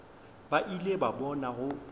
ba ile ba bona go